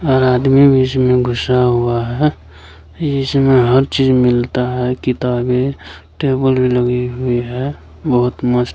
और आदमी भी इसमें घुसा हुआ है इसमें हर चीज मिलता है किताबें टेबल भी लगी हुई है बहुत मस्त --